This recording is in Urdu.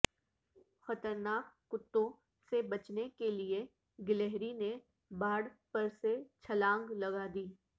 خطرناک کتوں سے بچنے کیلئے گلہری نے باڑ پر سے چھلانگ لگادی